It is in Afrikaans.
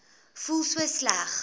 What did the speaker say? voel so sleg